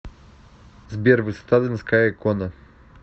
сбер высота донская икона